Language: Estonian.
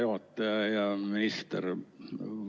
Hea minister!